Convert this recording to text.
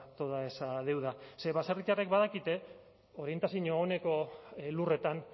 toda esa deuda ze baserritarrek badakite orientazio oneko lurretan